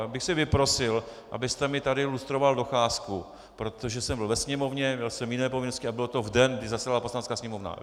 Já bych si vyprosil, abyste mi tady lustroval docházku, protože jsem byl ve Sněmovně, měl jsem jiné povinnosti a bylo to v den, kdy zasedala Poslanecká sněmovna.